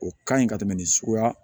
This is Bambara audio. O ka ɲi ka tɛmɛ nin suguya